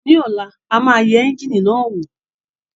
Ní ọ̀la a máa yẹ ẹ́ńjíìnì náà wò